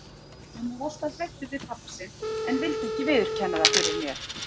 Hann var alltaf hræddur við pabba sinn en vildi ekki viðurkenna það fyrir mér.